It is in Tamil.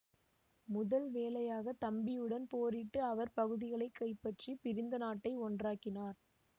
முதல் வேலையாக தம்பியுடன் போரிட்டு அவர் பகுதிகளை கைப்பற்றி பிரிந்த நாட்டை ஒன்றாக்கினார்